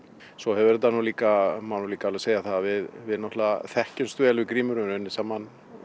svo hefur þetta nú líka má líka alveg segja það að við náttúrulega þekkjumst vel við Grímur höfum unnið saman